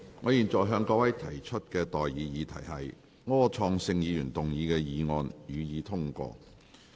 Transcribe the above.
我現在向各位提出的待議議題是：柯創盛議員動議的議案，予以通過。